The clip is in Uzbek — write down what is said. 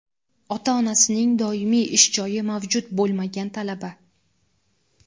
Ota-onasining doimiy ish joyi mavjud bo‘lmagan talaba;.